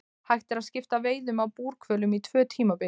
Hægt er að skipta veiðum á búrhvölum í tvö tímabil.